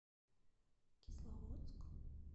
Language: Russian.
кисловодск